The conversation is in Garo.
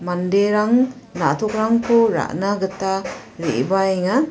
manderang na·tokrangko ra·na gita re·baenga.